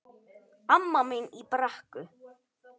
Amma mín í Brekku.